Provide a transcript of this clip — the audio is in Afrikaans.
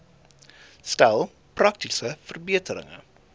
stel praktiese verbeterings